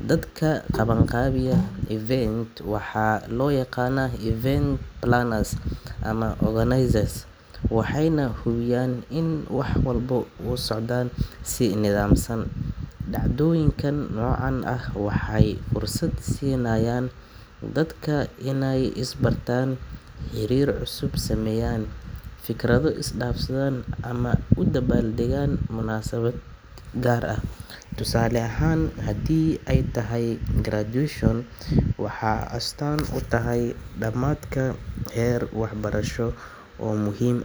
Dadka qabanqaabiya event-ka waxaa loo yaqaanaa event planners ama organizers, waxayna hubiyaan in wax walba u socdaan si nidaamsan. Dhacdooyinka noocan ah waxay fursad siinayaan dadka inay isbartaan, xiriir cusub sameeyaan, fikrado is dhaafsadaan ama u dabaal degaan munaasabad gaar ah. Tusaale ahaan, haddii ay tahay graduation, waxay astaan u tahay dhammaadka heer waxbarasho oo muhiim.